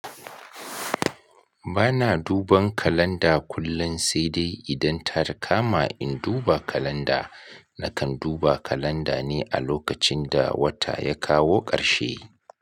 Bana duban kalanda kullun sai dai idan ta kama in duba kalanda, nakan duba kalanda ne a lokacin da wata ya kawo ƙarshe.